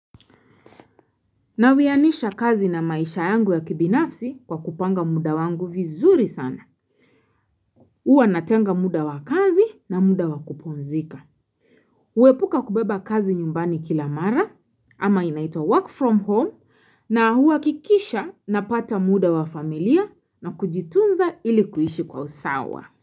Nawianisha kazi na maisha yangu ya kibinafsi kwa kupanga muda wangu vizuri sana. Huwa natenga muda wakazi na muda wa kupumzika. Uwepuka kubeba kazi nyumbani kila mara ama inaitwa work from home na huwakikisha napata muda wa familia na kujitunza ili kuishi kwa usawa.